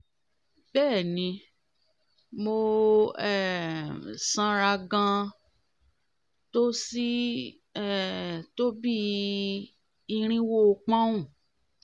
bẹ́ẹ̀ni mo um sanra gan-an tó sí um tó bí i um irinwó pọ́nùn